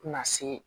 Tɛna se